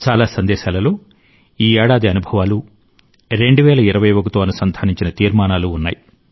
చాలా సందేశాలలో ఈ ఏడాది అనుభవాలు 2021 తో అనుసంధానించిన తీర్మానాలు ఉన్నాయి